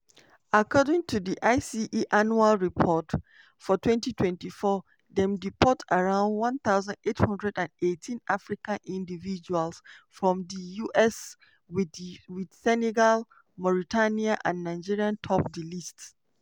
according to di ice annual report for 2024 dem deport around 1818 african individuals from di us wit senegal mauritania and nigeria top di list.